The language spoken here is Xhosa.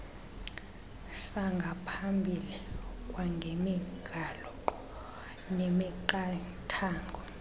sangaphambili kwangemigaqo nemiqathango